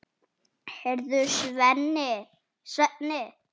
Heyrðu, Svenni.